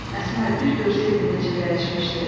Əsmər, bir görsəydin necə dəyişmişdi.